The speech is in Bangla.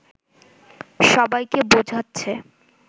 সবাইকে বোঝাচ্ছে